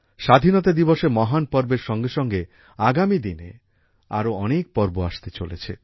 স্বাধীনতা দিবসের মহান পর্বের সঙ্গে সঙ্গে আগামী দিনে আরো অনেক পর্ব আসতে চলেছে